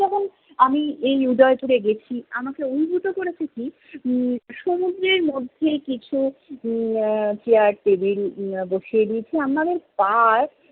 আমি এই উদয়পুরে গেছি, আমাকে অভিভূত করেছে কি, সম~সমুদ্রের মধ্যে কিছু উম আহ চেয়ার টেবিল বসিয়ে দিয়েছে, আমাদের পা